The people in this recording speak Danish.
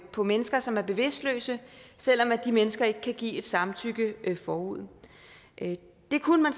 på mennesker som er bevidstløse selv om de mennesker ikke kan give et samtykke forud det kunne man